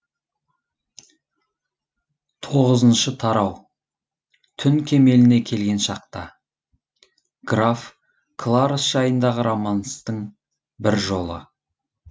тоғызыншы тарау түн кемеліне келген шақта граф кларос жайындағы романстың бір жолы